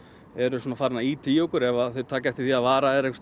eru farnir að ýta í okkur ef þeir taka eftir því að vara er einhvers